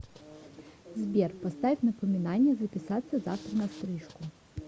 сбер поставь напоминание записаться завтра на стрижку